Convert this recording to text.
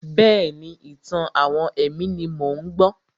Bẹ́ẹ̀ni, ìtàn-àwọn ẹ̀mí ni mò ń gbọ́.